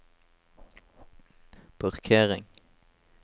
parkering